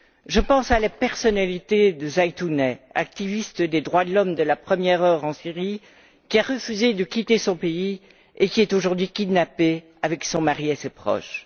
Je pense à la personnalité de Zaitouneh, activiste des droits de l'homme de la première heure en Syrie, qui a refusé de quitter son pays et qui est aujourd'hui kidnappée avec son mari et ses proches.